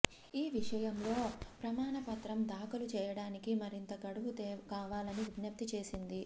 ఈ విషయంలో ప్రమాణపత్రం దాఖలు చేయడానికి మరింత గడువు కావాలని విజ్ఞప్తి చేసింది